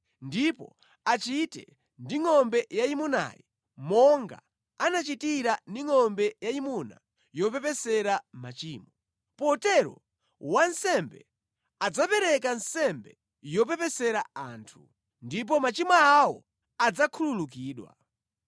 ndipo achite ndi ngʼombe yayimunayi monga anachitira ndi ngʼombe yayimuna yopepesera machimo. Potero, wansembe adzapereka nsembe yopepesera anthu, ndipo machimo awo adzakhululukidwa.